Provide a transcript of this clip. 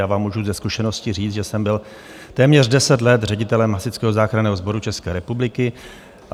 Já vám můžu ze zkušenosti říct, že jsem byl téměř 10 let ředitelem Hasičského záchranného sboru České republiky.